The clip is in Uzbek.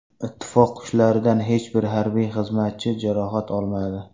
Ittifoq kuchlaridan hech bir harbiy xizmatchi jarohat olmadi.